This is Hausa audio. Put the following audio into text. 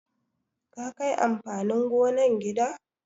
Ka kai amfanin gonan gida?